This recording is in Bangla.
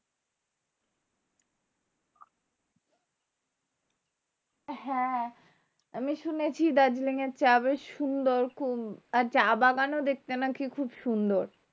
হ্যাঁ আমি শুনেছি দার্জিলিং এর চা বেশ সুন্দর খুব আর চা বাগানও দেখতে নাকি খুব সুন্দর